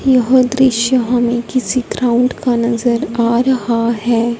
यह दृश्य हमें किसी ग्राउंड का नजर आ रहा है।